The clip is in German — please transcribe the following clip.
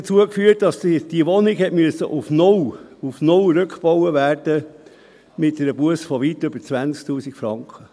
Dies führte dazu, dass die Wohnung auf null – auf null! – rückgebaut werden musste, mit einer Busse von weit über 20’000 Franken.